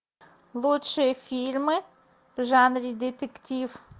лучшие фильмы в жанре детектив